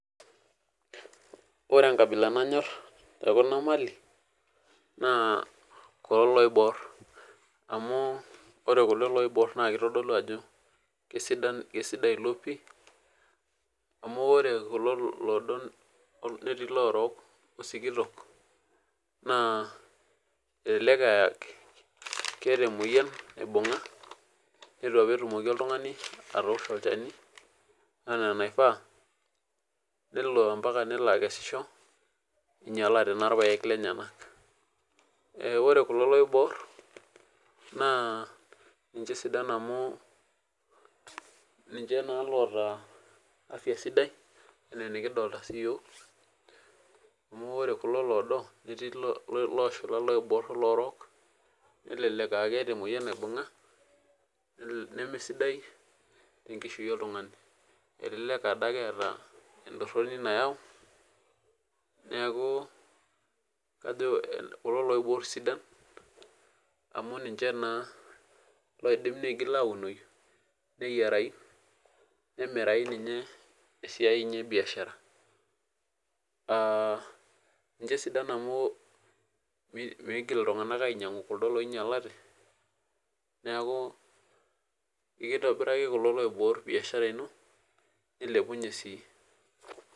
Ore enkabila nanyor tekuna Mali naa kulo loibor amu ore kulo loibor naa kitodolu Ajo kisidan kaisidai elo pii amu ore kulo loodo naa ketii elorook osikitok naa elelek aa keet emoyian naibung'a neitu apa etumoki oltung'ani atoshoo olchani enaa enaifaa nelo mbaka nelo aikesisho eingialate naa irpaek lenyakorw kulo loibor naa ninje sidan amu ninje naa lootaa afya sidai enaa enikidolita siyiok amu ore kulo loodo netii eloshula eloibor oolorok nelelek aa keeta emoyian naibung'a nemesidai tee nkishui oltung'ani elelek Ade etaa entoroni nayau neeku kajo kulo loibor sidan amu ninje oidimu nitoki aunoi neyiarai nemirai ninye tesidai ebiashara aa ninje sidan amu mitoki iltung'ana ainyiang'u kuldo oinyialate neeku eitobiraki kulo loibor biashara ino nailepunye sii